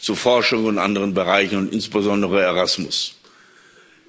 zu Forschung und anderen Bereichen und insbesondere Erasmus zu kommen.